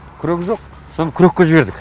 күрек жоқ сон күрекке жібердік